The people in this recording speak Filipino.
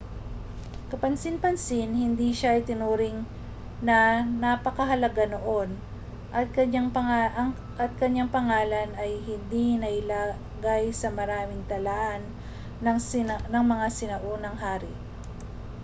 kapansin-pansin hindi siya itinuring na napakahalaga noon at kaniyang pangalan ay hindi nailagay sa maraming talaan ng mga sinaunang hari